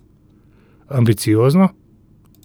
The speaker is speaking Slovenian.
Ambiciozno?